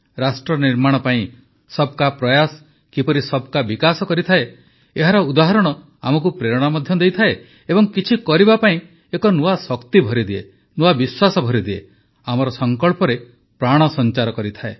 ରାଷ୍ଟ୍ର ନିର୍ମାଣ ପାଇଁ ସବ୍କା ପ୍ରୟାସ କିପରି ସବକା ବିକାଶ କରିଥାଏ ଏହାର ଉଦାହରଣ ଆମକୁ ପ୍ରେରଣା ମଧ୍ୟ ଦିଏ ଏବଂ କିଛି କରିବା ପାଇଁ ଏକ ନୂଆ ଶକ୍ତି ଭରିଦିଏ ନୂଆ ବିଶ୍ୱାସ ଭରିଦିଏ ଆମର ସଂକଳ୍ପରେ ପ୍ରାଣ ସଂଚାର କରିଥାଏ